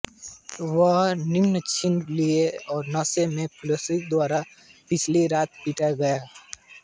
वह नग्न छीन लिया और नशे में पुलिसकर्मियों द्वारा पिछली रात पीटा गया था